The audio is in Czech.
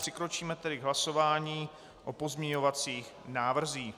Přikročíme tedy k hlasování o pozměňovacích návrzích.